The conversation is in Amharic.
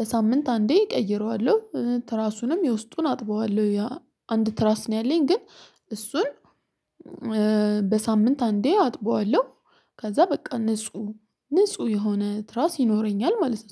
በሳምንት አንዴ እቀይረዋለሁ ትራሱንም የውስጡን አጥበዋለሁ አንድ ትራስ ነው ያለኝ ግን እሱን በሳምንት አንዴ አጥበዋለሁ ከዛ በቃ ንጹህ ንጹህ የሆነ ትራስ ይኖረኛል ማለስ